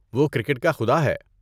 وہ "کرکٹ کا خدا" ہے۔